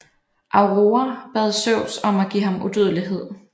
Aurora bad Zeus om at give ham udødelighed